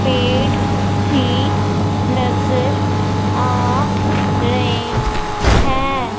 पेड़ भी नजर आ रहे हैं।